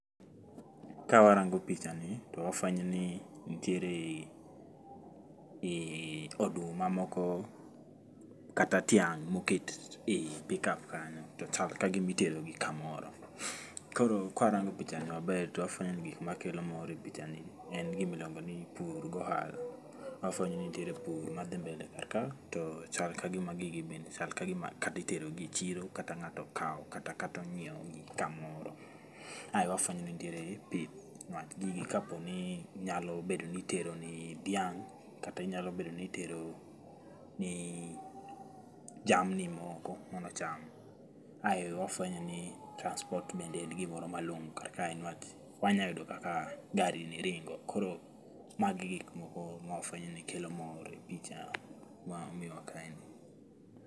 Kawarango pichani, to wafwenyo ni nitiere um oduma moko kata tiang' moket e pick up kanyo, to chal ka gimitero kamoro. Koro kwarango pichani maber to wafwenyo ni gik makelo mor e pichani en gimiluongo ni pur gohala, wafwenyo ni nitiere pur madhi mbele kar ka, to chal ka gima gigi bende chal ka gima kata itero gi echiro kata ng'ato kaw, kata ong'iew gi kamoro. Ae wafwenyo ni nitiere pith, niwach gigi kaponi nyalo bedo ni itero ni dhiang', kata inyalo bedo ni itero ni jamni moko mondo ocham. Ae wafwenyo ni, transport bende en gimoro malong'o kar kae niwach wanyayudo kaka gari ni ringo, koro magi gik moko mwafwenyo ni kelo mor e picha ma omiwa kaeni